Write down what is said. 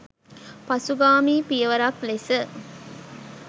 පසුගාමී පියවරක් ලෙස.